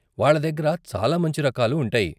వాళ్ళ దగ్గర చాలా మంచి రకాలు ఉంటాయి.